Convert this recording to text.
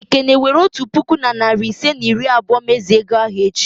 Ekene, were otu puku na narị ise na iri abụọ mezue ego ahụ echi!